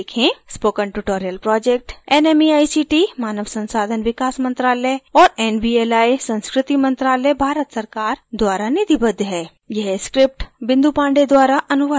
spoken tutorial project nmeict मानव संसाधन विकास मंत्रायल और nvli संस्कृति मंत्रालय भारत सरकार द्वारा निधिबद्ध है